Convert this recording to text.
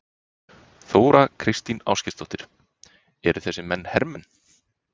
Þóra Kristín Ásgeirsdóttir: Eru þessir menn hermenn?